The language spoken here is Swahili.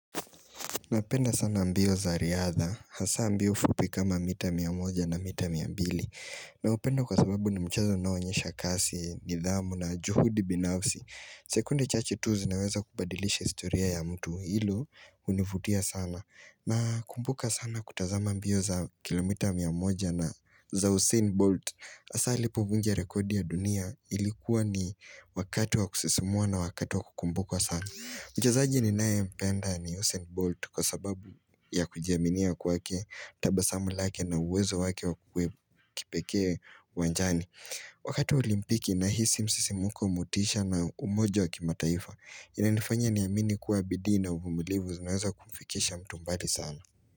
Napenda sana mbio za riadha, hasa mbio fupi kama mita mia moja na mita mia mbili. Naupenda kwa sababu ni mchezo unaonyesha kasi, nidhamu na juhudi binafsi. Sekunde chache tu zinaweza kubadilisha historia ya mtu. Hili hunivutia sana. Nakumbuka sana kutazama mbio za kilomita mia moja na za Usain Bolt. Hasa ilipovunja rekodi ya dunia ilikuwa ni wakati wa kusisimua na wakati wa kukumbuka sana. Mchezaji ninayempenda ni Usain Bolt kwa sababu ya kujiaminia kwake, tabasamu lake na uwezo wake wa kipekee uwanjani. Wakati wa olimpiki nahisi msisimuko, motisha na umoja wa kimataifa. Inanifanya niamini kuwa bidii na uvumilivu zinaweza kumfikisha mtu mbali sana.